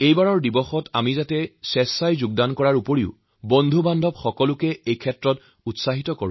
এইবাৰো আমাৰ এইটো সুনিশ্চিত কৰিব লাগিব যে আমি নিজেই যোগ কৰিম আৰু পৰিয়ালবন্ধু সকলোকে যোগ কৰাৰ বাবে উৎসাহ যোগাম